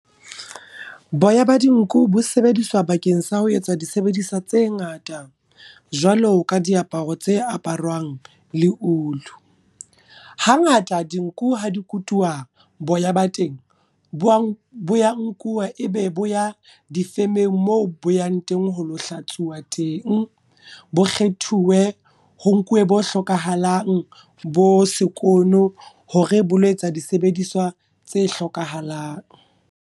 Boya ba dinku bo sebediswa bakeng sa ho etsa disebediswa tse ngata, jwalo ka diaparo tse aparwang le ulu. Ha ngata dinku ha dikutuwa boya ba teng, bo ya nkuwa e be bo ya difemeng moo bo yang teng ho lo hlatsuwa teng. Bo kgethuwe ho nkuwe bo hlokahalang, bo sekono hore boloetsa disebediswa tse hlokahalang.